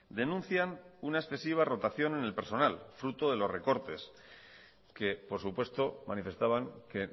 denuncian una excesiva rotación en el personal fruto de los recortes que por supuesto manifestaban que